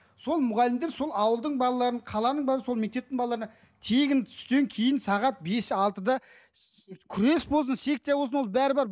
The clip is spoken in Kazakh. сол мұғалімдер сол ауылдың балаларын қаланың бала сол мектептің балаларына тегін түстен кейін сағат бес алтыда күрес болсын секция болсын ол бәрі бар